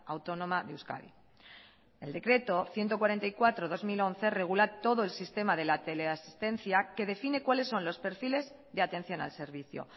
autónoma de euskadi el decreto ciento cuarenta y cuatro barra dos mil once regula todo el sistema de la teleasistencia que define cuales son los perfiles de atención al servicio